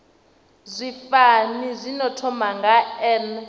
zwifani zwino thoma nga n